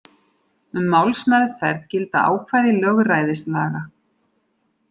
Um málsmeðferð gilda ákvæði lögræðislaga.